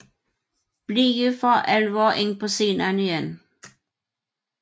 Blige for alvor ind på scenen igen